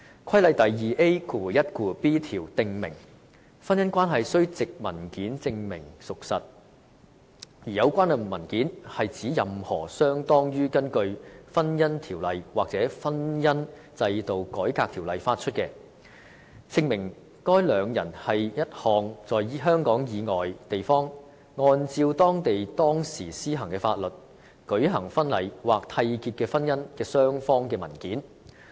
《規例》第 2AiB 條則訂明，婚姻關係須藉文件證明屬實，而有關文件是指任何相當於根據《婚姻條例》或《婚姻制度改革條例》發出，證明該兩人是一項在香港以外地方，按照當地當時施行的法律舉行婚禮或締結的婚姻的雙方的文件。